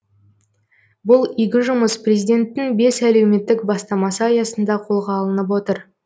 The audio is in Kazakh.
бұл игі жұмыс президенттің бес әлеуметтік бастамасы аясында қолға алынып отыр